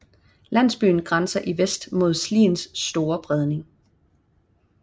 Landsbyen grænser i vest mod Sliens Store Bredning